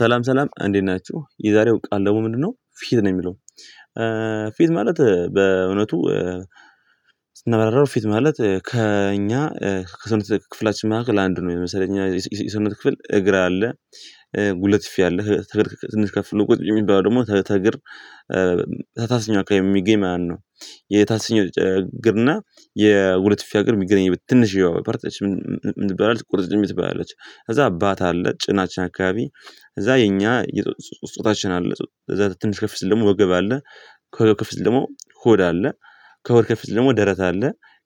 ሰላም ሰላም እንዴት ናችሁ የዛሬው ቃል ደግሞ ምንድነው ፊት ነው የሚለው ፊት ማለት በእውነቱ ስናብራራው ፊት ማለት ከእኛ ከሰውነት ክፍላችን መካከል አንዱ ነው የሚመስለኝ እየሰውነት ክፍል እግር አለ ጉልበት አለከእግር ትንሽ ከፍ ብሎ ቁጥቢ የሚባለው ደግሞ ከእግር ታችኛው አካባቢ የሚገኝ ማለት ነው የታችኛው ጭግርና የሁለት ፊፋ እግርም የሚገናኝበት ትንሽ ያው ፓርት ምን ትባላለች ቁርጭምጭሚት ትባላለች ከዛ ባት አለ ጭናችን አካባቢ እዛ የኛ ጾታችን አለ እዛ ትንሽ ከፊት ደግሞ ወገብ አለ ከወገብ ከፍሲል ደግሞ ሆድ አለ ከሆድ ከፍ ሲል ደግሞ ደረት አለ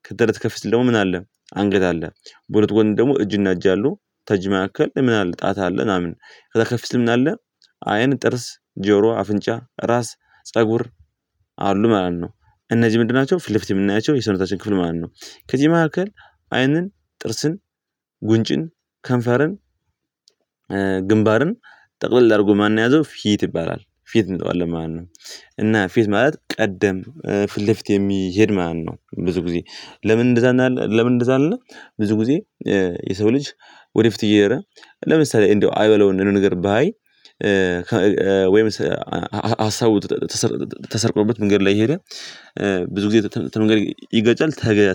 ከደረት ከፊት ደግሞ ምን አለ አንገት አለ በሁለት ጎን ደግሞ እጅና እጅ አሉ ተጅመካከል ምን አለ ጣታ አለ እናምን ምን አለ አይን ጥርስ ጆሮ አፍንጫ ራስ ፀጉር አሉ ማለት ነው እነዚህ ምንድን ናቸው ፊለፊት የምናያቸው የሰውነታችን ክፍል ማለት ነው ከዚህ መካከል አይንን ጥርስን ጉንጭን ከንፈርን ግንባርን ጠቅልል አድርጎ ማን ነው የያዘው ፊት ይባላል ፊት እንለዋለን ማለት ነው እና ፊት ማለት ቀደምት ፊት ለፊት የሚሄድ ማን ነው ብዙ ጊዜ ለምን እንደዛ እንዳለ አይደለም ለምን እንደዛ አይደለም ብዙ ጊዜ የሰው ልጅ ወደ ፊት እየሄደ ለምሳሌ እንደው አይበለው እና እንደው የሆነ ነገርባይ ወይም ሀሳቡ ተሰርቆበት መንገድ ላይ እየሄደ ብዙጊዜ ከምንጋር ይጋጫል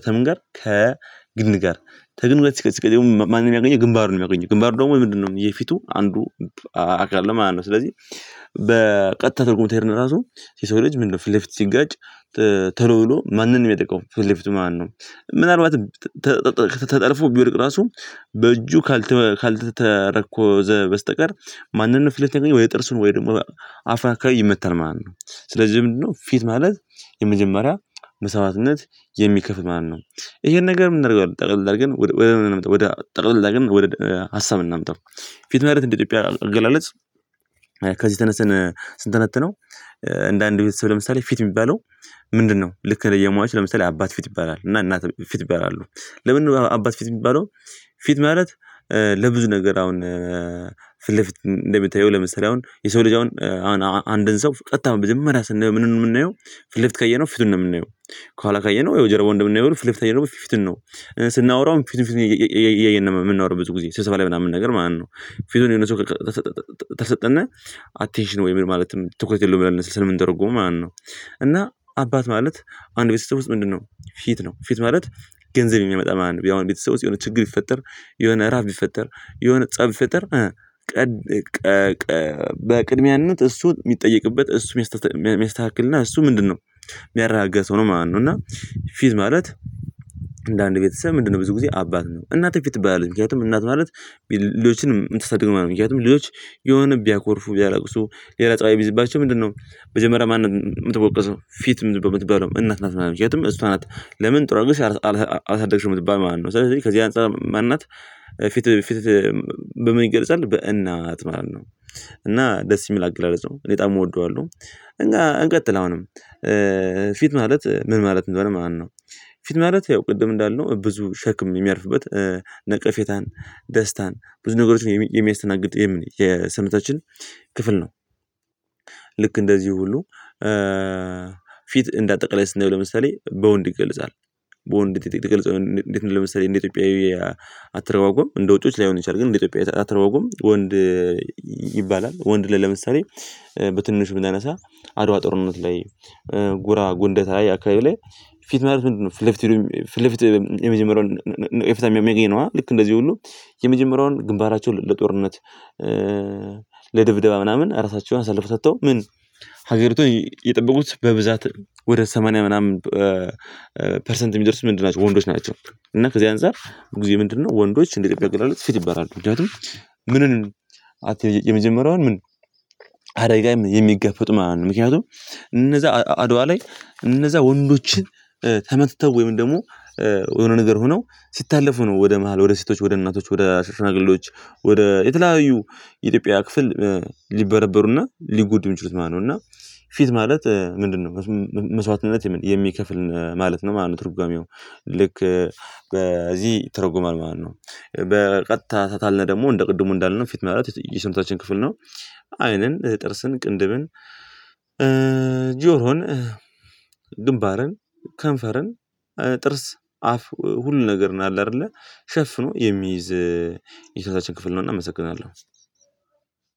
ከምን ጋር ከግንድ ጋር ከግንዱ ጋር ሲጋጭ ማንን ያገኛል ግንባሩን ነው የሚያገኘው ግንባሩ ደግሞ ምንድነው የፊቱ አንዱ አካል ነው ማለት ነው ስለዚህ በቀጥታ ትርጉም ተሄድና ራሱ የሰው ልጅ ምንድነው ፊት ለፊት ሲጋጭ ቶሎብሎ ማንን ነው የሚያጠቃው ፍ ፊለፊቱን ማለትነው ምናልባት ተጠልፎ ቢወድቅ ራሱ በእጁ ካልተተረኮዘ በስተቀር ማንንም ፊት ወይ ጥርሱን ወይ ደግሞ አፋ አካባቢ ይመታል ማለት ነው ስለዚህ ምንድነው ፊት ማለት የመጀመሪያ መስዋዕትነት የሚከፍል ማን ነው ይሄን ነገር የምናደርገው ጠቅለል አድርገን ወደ ጠቅለል አድርገን ወደ ሀሳብ እናምጣው ፊት ማለት እንደ ኢትዮጵያ አገላለጽ ከዚህ ተነስን ስንተነተነው እንደ አንድ ቤተሰብ ለምሳሌ ፊት የሚባለው ምንድነው ልክ እንደ የሟች ለምሳሌ አባት ፊት ይባላል እና እናትም ፊት ይባላሉ ለምን አባት ፊት የሚባለው ፊት ማለት ለብዙ ነገር አሁን ፊት ለፊት እንደምታየው ለምሳሌ አሁን የሰው ልጅ አሁን አንድን ሰው ቀጥታ መጀበመሪያ ስናየው ምኑን ነው የምናየው ፍልፍት ካየነው ፊቱን ነው የምንየው ከኋላ ካየነው የጀርባውን እንደምናየው ፊለፊት ካየነው ፊቱን ነው ስናወራው ፊቱን ፊቱን እያየን ነው የምናወራው ብዙ ጊዜ ስብሰባ ላይ ምናምን ነገር ማለት ነው ፊቱን የሆነ ሰው ተሰጠና አቴንሽን ወይም ምን ማለትም ትኩረት የለውም ለነስል ስለምንተረጎመው ማለት ነው እና አባት ማለት አንድ ቤተሰብ ውስጥ ምንድነው ፊት ነው ፊት ማለት ገንዘብ የሚያመጣ አንድ የአሁን ቤተሰብ ውስጥ የሆነ ችግር ይፈጠር የሆነ ራብ ቢፈጠር የሆነ ፀብ ቢፈጠር ቀድ ቀድ ቀድ በቅድሚያነት እሱ የሚጠየቅበት እሱ የሚያስተካክልና እሱ ምንድነው የሚያረጋጋሰው ነው ማለት ነው እና ፊት ማለት እንደ አንድ ቤተሰብ ምንድነው ብዙ ጊዜ አባት ነው እናትም ፊት ትባላለች ምክንያቱም እናት ማለት ልጆችን የምታሳድገው ማለት ነው ምክንያቱም ልጆች የሆነ ቢያኮርፉ ቢያለቅሱ ሌላ ፀባይ ቢይዝባቸው ምንድነው መጀመሪያ ማንንም የምትወቀሰው ፊትም የምትባለው እናት ናት ማለት ነው ምክንያቱም እሷ ናት ለምን ጥሩ አድርገሽ አልሳደግሽም የምትባል ማለት ነው ስለዚህ ከዚህ አንፃር ማናት ፊት ፊት በምን ይገለጻል በእናት ማለት ነው እና ደስ የሚል አገላለጽ ነው እኔ የበጣም እወደዋለሁ እንግዲህ እንቀጥል አሁንም ፊት ማለት ምን ማለት እንደሆነ ማለት ነው ፊት ማለት ያው ቅድም እንዳልነው ብዙ ሸክም የሚያርፍበት ነቀፌታን ደስታን ብዙ ነገሮችን የሚያስተናግድ የሰውታችን ክፍል ነው ልክ እንደዚህ ሁሉ ፊት እንዳጠቃላይስናየው ለምሳሌ በወንድ ይገልጻል በወንድ ይገልጻል እንዴት ነው ለምሳሌ እንዴት ኢትዮጵያዊ አትረጓጎም አትረጓጉም እንደ ውጪዎች ላይሆን ይችላል ግን እንደ ኢትዮጵያዊ አትረጓጎም ወንድ ይባላል ወንድ ላይ ለምሳሌ በትንሽ ብናነሳ አድዋ ጥርነት ላይ ጉራ ጉንደታ ላይ አካባቢ ላይ ፊት ማለት ምንድነው ፊለፊት ፊለፊት የመጀመሪያውን እፍታም የሚያመጣኝ ነው ልክ እንደዚህ ሁሉ የመጀመሪያውን ግንባራቸውን ለጦርነት ለድብደባ ምናምን ራሳቸውን አሳልፎ ሰጥተው ምን ሀገሪቷን የጠበቁት በብዛት ወደ ሰማንያ ምናምን ፐርሰንት የሚደርስ ምንድን ናቸው ወንዶች ናቸው እና ከዚህ አንፃር ብዙ ጊዜ ምንድነው ወንዶች እንደ ኢትዮጲያ አገላለጽ ፊት ይበላሉ ምንም ምንን የመጀመሪያውን ምን አደጋ የሚጋፈጥ ማለት ነው ምክንያቱም እነዛ አድዋ ላይ እነዛ ወንዶችን ተመትተው ወይም ደግሞ የሆነ ነገር ሆነው ሲታለፉ ነው ወደ መሃል ወደ ሴቶች ወደ እናቶች ወደ ሸሽማግሌዎች ወደ የተለያዩ የኢትዮጵያ ክፍል ሊበረበሩና ሊጎዱ የሚችሉት ማነው እና ፊት ማለት ምንድነው መስዋዕትነት የሚከፍል ማለት ነው ማነው ትርጓሜው ልክ በዚህ ተ ይተረጎማል ማለት ነው በቀጥታ ታለነ ደግሞ እንደ ቅድሙ እንዳልነው ፊት ማለት የስነታችን ክፍል ነው አይንን ጥርስን ቅንድብን ጆሮን ግንባርን ከንፈርን ጥርስ አፍ ሁሉ ነገር ነው አለ አይደለ ሸፍኖ የሚይዝ የሰውነታችን ክፍል ነው እናመሰግናለን።